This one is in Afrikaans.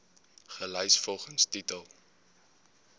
gelys volgens titel